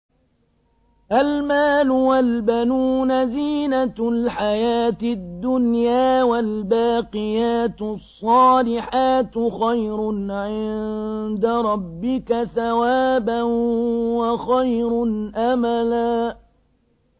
الْمَالُ وَالْبَنُونَ زِينَةُ الْحَيَاةِ الدُّنْيَا ۖ وَالْبَاقِيَاتُ الصَّالِحَاتُ خَيْرٌ عِندَ رَبِّكَ ثَوَابًا وَخَيْرٌ أَمَلًا